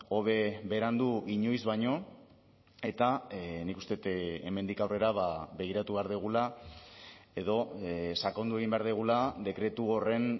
hobe berandu inoiz baino eta nik uste dut hemendik aurrera begiratu behar dugula edo sakondu egin behar dugula dekretu horren